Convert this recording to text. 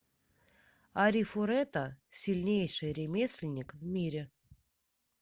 арифурэта сильнейший ремесленник в мире